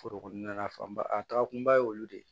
Foro kɔnɔna na fanba a taga kunba ye olu de ye